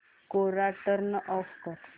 कोरा turn off कर